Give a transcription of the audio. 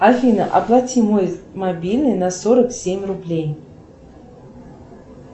афина оплати мой мобильный на сорок семь рублей